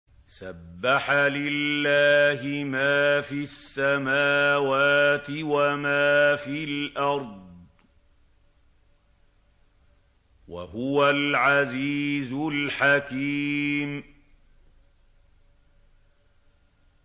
سَبَّحَ لِلَّهِ مَا فِي السَّمَاوَاتِ وَمَا فِي الْأَرْضِ ۖ وَهُوَ الْعَزِيزُ الْحَكِيمُ